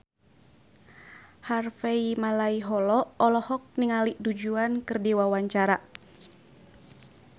Harvey Malaiholo olohok ningali Du Juan keur diwawancara